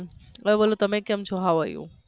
તમે બોલો તમે કેમ છો how are you